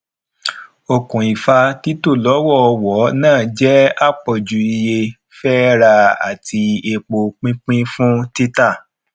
okùnfà tito lọwọọwọ náà jẹ apọju iye fẹ rà àti epo pínpín fun tita